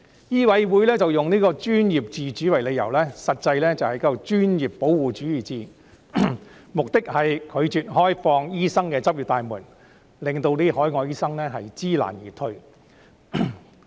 醫委會以"專業自主"為理由，實際是專業的保護主義，目的是拒絕開放醫生的執業大門，令海外醫生知難而退。